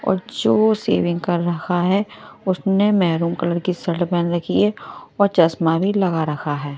और जो शेविंग कर रहा है उसने मैरून कलर की शर्ट पहन रखी है और चश्मा भी लगा रखा है।